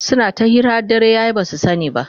suna ta hira har dare yaye basu sani ba